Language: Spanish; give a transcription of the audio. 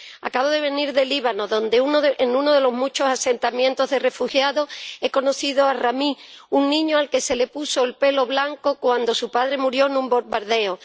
Acabo de venir del Líbano, donde en uno de los muchos asentamientos de refugiados he conocido a Rami, un niño al que se le puso el pelo blanco cuando su padre murió en un bombardeo.